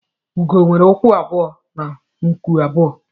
Ugo nwere ụkwụ abụọ na nku abụọ